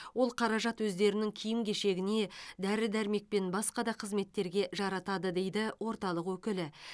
ол қаражат өздерінің киім кешегіне дәрі дәрмек пен басқа да қызметтерге жаратады дейді орталық өкілі